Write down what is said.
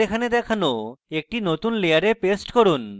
এবং তাদের এখানে দেখানো একটি নতুন layer paste করুন